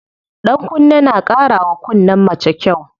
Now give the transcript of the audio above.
Ɗankunne na ƙara wa kunnen mace kyau.